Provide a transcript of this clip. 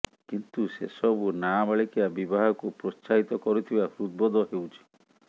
କିନ୍ତୁ ସେ ସବୁ ନାବାଳିକା ବିବାହକୁ ପ୍ରୋତ୍ସାହିତ କରୁଥିବା ହୃଦବୋଧ ହେଉଛି